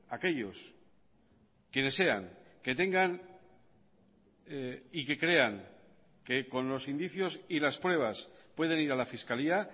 aquellos quienes sean que tengan y que crean que con los indicios y las pruebas pueden ir a la fiscalía